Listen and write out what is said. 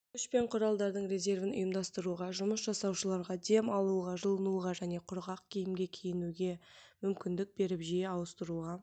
күш пен құралдардың резервін ұйымдастыруға жұмыс жасаушыларға дем алуға жылынуға және құрғақ киімге киінуге мүмкіндік беріп жиі ауыстыруға